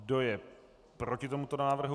Kdo je proti tomuto návrhu?